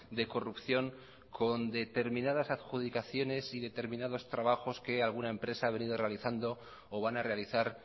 de corrupción con determinadas adjudicaciones y determinados trabajos que alguna empresa ha venido realizando o van a realizar